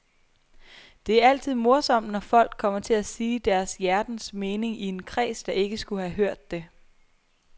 Det er altid morsomt, når folk kommer til at sige deres hjertens mening i en kreds, der ikke skulle have hørt det.